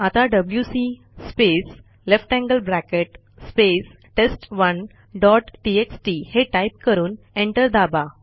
आता डब्ल्यूसी space less than sign space test one dot TXT हे टाईप करून एंटर दाबा